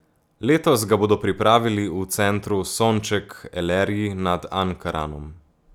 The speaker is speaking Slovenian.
Letos ga bodo pripravili v Centru Sonček Elerji nad Ankaranom.